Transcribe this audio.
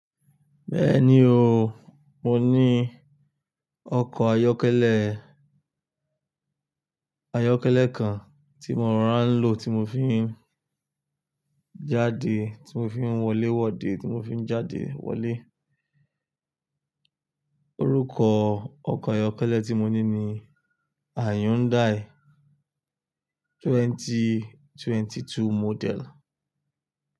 Bẹ́ẹ̀ni o, mo ní ọkọ̀ ayọ́kẹ́lẹ́, ayọ́kẹ́lẹ́ kan tí mo rà ń lò tí mo fi ń jáde, tí mo fi ń wọlé wọde, tí mo fi ń jáde wọlé. Orúkọ ọkọ̀ ayọ́kẹ́lẹ́ tí mo ní ni Hyundai twenty twenty two model.